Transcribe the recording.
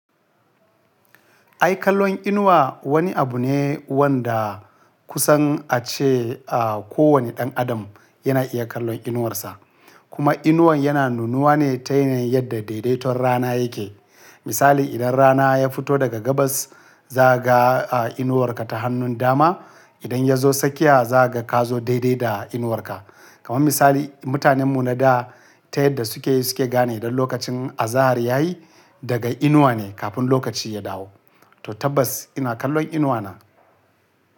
Ai kallon inuwa wani abu ne wanda kusan ace a kowane ɗan adam yana iya kallon inuwarsa. Kuma inuwan yana nunuwa ne ta yanayin yadda daidaiton rana yake. Misali idan rana ya fito daga gabas, zaka ga a inuwarka ta hannun dama. Idan ya zo tsakiya, za ga ka zo daidai da inuwarka. Kaman misali, mutanen mu na da ta yadda suke, suke gane idan lokacin azahar yayi daga inuwa ne kafin lokaci ya dawo. To tabbas ina kallon inuwa na.